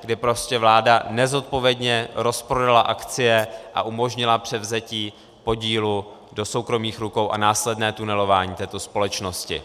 kdy prostě vláda nezodpovědně rozprodala akcie a umožnila převzetí podílů do soukromých rukou a následné tunelování této společnosti.